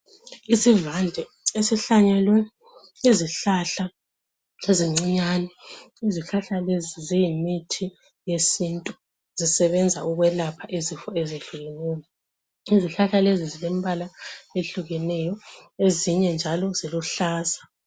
Isivande esihlanyelwe izihlahla ezincinyane, izihlahla lezi ziyimithi yesintu zisebenza ukwelapha izifo ezehlukeneyo. Izihlahla lezi zilembala ehlukeneyo ezinye njalo ziluhlaza.